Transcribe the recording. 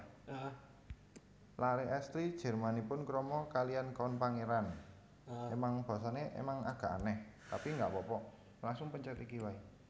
Laré èstri Jermanipun krama kalihan Count pangeran